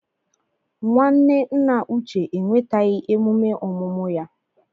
Nwanne nna Uche enwetaghị emume ọmụmụ ya.